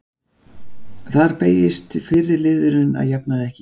Þar beygist fyrri liðurinn að jafnaði ekki.